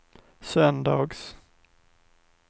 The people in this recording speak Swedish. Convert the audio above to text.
söndags